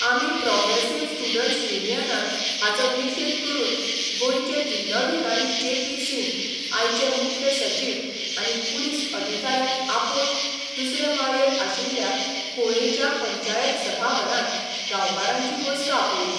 आमी progressive students युनियनान हाचो निशेध करून गोंयचे जिल्लोधिकारी जे पी सिंग आयचे मुख्य सचीव आनी पुलीस अधिकाऱ्यांक आपोवन दुसरे माळयेर आशिल्ल्या कुळेंच्या पंचायत सभाघरांत गांवकारांची बसका आपयली.